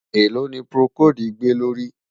èlò ní procold gbè ló rí?